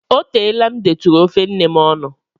O teela m detụrụ ofe nne m ọnụ.